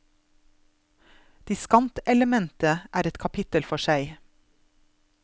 Diskantelementet er et kapittel for seg.